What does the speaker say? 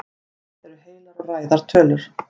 hvað eru heilar og ræðar tölur